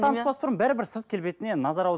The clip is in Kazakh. таныспас бұрын бәрібір сырт келбетіне назар